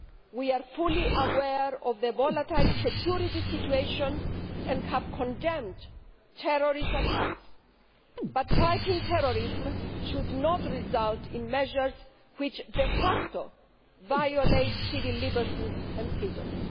We are fully aware of the volatile security situation and have condemned terrorist attacks, but fighting terrorism should not result in measures which de facto violate civil liberties and freedoms.